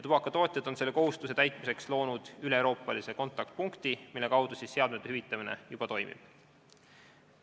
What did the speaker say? Tubakatootjad on selle kohustuse täitmiseks loonud üleeuroopalise kontaktpunkti, mille kaudu seadmete hüvitamine juba toimub.